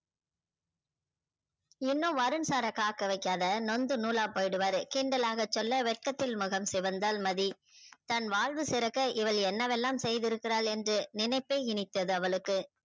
இன்னும் வருண் sir ர காக்க வைக்காத நொந்து நூல போயுடுவாறு கிண்டலாக சொல்ல வெக்கத்தில் முகம் சிவந்தால் மதி தன் வாழ்வு சிறக்க இவள் என்ன வெல்லாம் செய்து இருக்கிறாள் என்று நினைபே இனித்தது அவளுக்கு